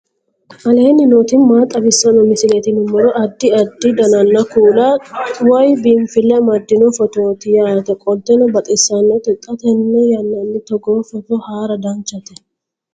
aleenni nooti maa xawisanno misileeti yinummoro addi addi dananna kuula woy biinfille amaddino footooti yaate qoltenno baxissannote xa tenne yannanni togoo footo haara danchate